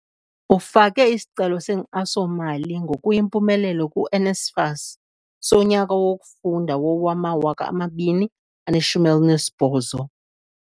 Ufake isicelo senkxaso-mali ngokuyimpumelelo ku-NSFAS sonyaka wokufunda wowama-2018.